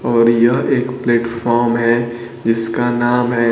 और यह एक प्लेटफॉर्म हैं जिसका नाम है--